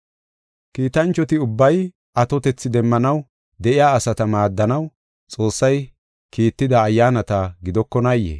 Kiitanchoti ubbay atotethi demmanaw de7iya asata maaddanaw Xoossay kiitida ayyaanata gidokonaayee?